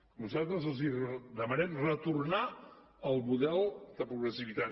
nosaltres els demanem retornar al model de progressivitat